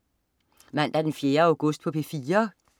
Mandag den 4. august - P4: